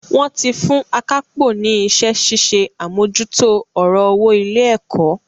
Wón ti fún akápò ní iṣẹ́ ṣíṣe àmójútó ọ̀rọ̀ owó ilé-ẹ̀kọ́.